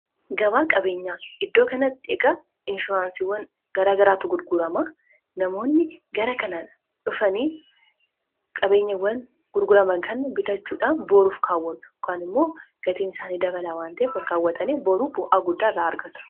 gabaa qabeenyaa iddoo kanatti egaa inshuraansiiwwan gara garaatu gurgurama. Namoonni gara kana dhufanii qabeenyawwan gurgurama kan bitachuudhaan booruuf kaawwatu. Kaan immoo gatiin isaanii dabalaa waan ta'eef olkaawwatanii boruuf bu'aa guddaa irraa argatu.